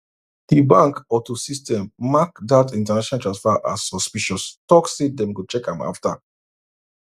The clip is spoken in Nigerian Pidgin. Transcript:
di bank auto system mark dat international transfer as suspicious talk say dem go check am afta